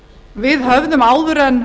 við höfum áður en